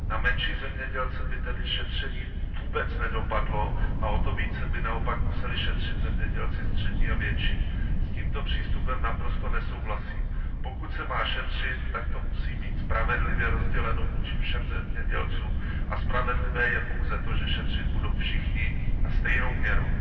Na menší zemědělce by tedy šetření vůbec nedopadlo, a o to více by naopak museli šetřit zemědělci střední a větší. S tímto přístupem naprosto nesouhlasím. Pokud se má šetřit, tak to musí být spravedlivě rozděleno vůči všem zemědělcům, a spravedlivé je pouze to, že šetřit budou všichni a stejnou měrou.